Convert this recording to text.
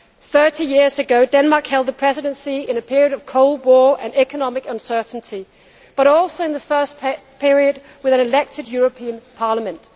Thirty years ago, Denmark held the Presidency in a period of Cold War and economic uncertainty, but also in the first period with an elected European Parliament.